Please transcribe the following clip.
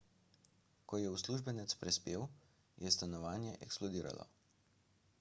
ko je uslužbenec prispel je stanovanje eksplodiralo